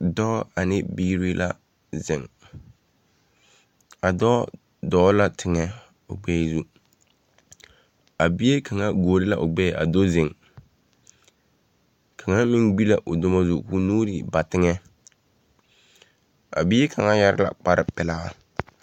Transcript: Dɔɔ ane biiri la zeŋ. A dɔɔ dɔɔ la teŋɛ o gbɛɛ zu. A bie kaŋa guori la o gbɛɛ a do zeŋ. Kaŋa meŋ gbi la o duŋo zu koo nuurii ba teŋɛɛ. A bie kaŋ yare la kpar pelaa.